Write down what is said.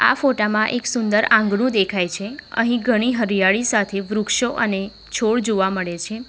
આ ફોટા માં એક સુંદર આંગણું દેખાય છે અહીં ઘણી હરિયાળી સાથે વૃક્ષો અને છોડ જોવા મળે છે.